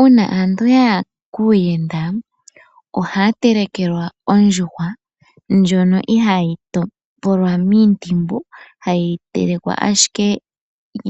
Uuna aantu ya ya kuuyenda. Ohaya telekelwa ondjuhwa ndjono ihaayi topolwa miintimbu hayi telekwa ashike